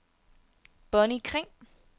Bonnie Kring